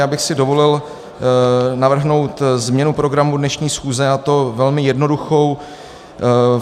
Já bych si dovolil navrhnout změnu programu dnešní schůze, a to velmi jednoduchou.